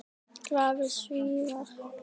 Glaðir Svíar.